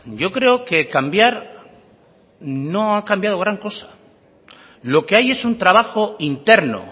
yo creo que cambiar no ha cambiado gran cosa lo que hay es un trabajo interno